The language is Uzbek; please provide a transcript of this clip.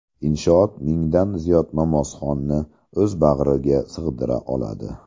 Inshoot mingdan ziyod namozxonni o‘z bag‘riga sig‘dira oladi.